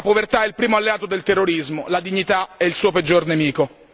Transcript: La povertà è il primo alleato del terrorismo, la dignità è il suo peggior nemico.